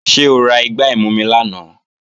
Ṣé o ra igbá ìmumi lánàá?